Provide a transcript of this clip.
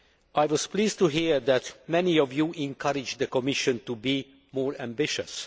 I was pleased to hear that many of you encouraged the Commission to be more ambitious.